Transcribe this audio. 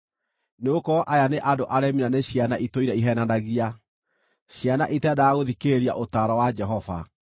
Nĩgũkorwo aya nĩ andũ aremi na nĩ ciana itũire iheenanagia, ciana itendaga gũthikĩrĩria ũtaaro wa Jehova.